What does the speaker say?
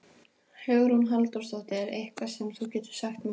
Hugrún Halldórsdóttir: Eitthvað sem þú getur sagt mér frá?